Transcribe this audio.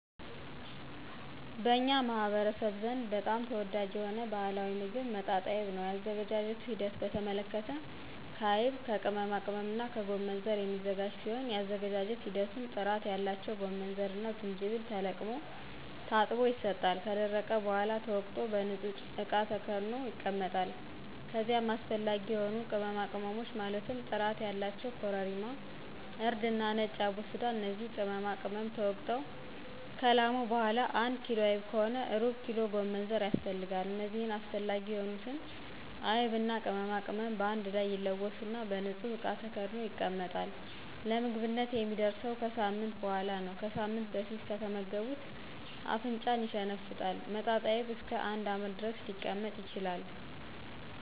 በኛ ማህበረሰብ ዘንድ በጣም ተወዳጅ የሆነ ባህላዊ ሞግብ መጣጣይብ ነው የአዘገጃጀቱ ሂደት በተመለከተ ከአይብ ከቅመማቅመምና ከጎመንዘር የሚዘጋጅ ሲሆን የአዘገጃጀት ሂደቱም ጥራት ያለው ጎመንዘርና ጅጅብል ተለቅሞ ታጥቦ ይሰጣል ከደረቀ በሗላ ተወቅጦ በንጹህ እቃ ተከድኖ ይቀመጣል ከዚይም አሰፈላጊ የሆኑ ቅመማቅመሞች ማለትም ጥራት ያላቸው ኮረሪማ :እርድና ነጭ አቦስዳ እነዚህ ቅመማቅመም ተወግጠው ከላሙ በሗላ አንድ ኪሎ አይብ ከሆነ ሩብኪሎ ጎመንዘር ያስፈልጋል እነዚህ አስፈላጊ የሆኑትን አይብና ቅመማቅመም በአንድ ላይ ይለወሱና በንጹህ እቃ ተከድኖ ይቀመጣል ለምግብነት የሚደርሰው ከሳምንት በሗላ ነው ከሳምንት በፊት ከተመገቡት አፍንጫን ይሸነፍጣል መጣጣይብ እስከ አንድ አመት ድረስ ሊቀመጥ ይችላል